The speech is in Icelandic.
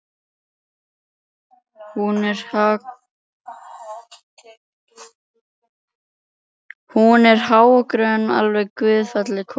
Hún er há og grönn, alveg gullfalleg kona.